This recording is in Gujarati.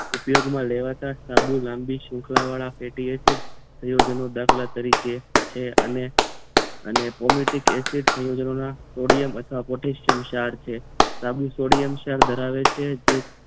ઉપયોગમાં લેવાતા સાબુ લાંબી સુખલા વાળા ફેટી એસિડ સંયોજનો દાખલા તરીકે છે અને અને પોલીટીક એસિડ સંયોજનો સોડિયમ અથવા પોટેશિયમ ક્ષાર છે સાબુ સોડિયમ ક્ષાર ધરાવે છે જે